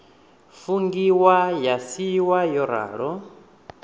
fungiwa ya siiwa yo ralo